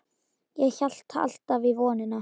Ég hélt alltaf í vonina.